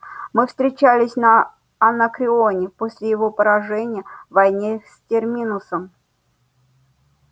мы встречались на анакреоне после его поражения в войне с терминусом